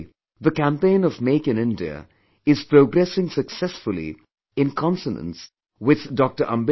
Today, the campaign of Make in India is progressing successfully in consonance with Dr